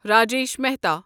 Rajesh Mehta